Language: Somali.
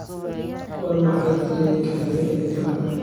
waa maxay tareenka xiga ee tala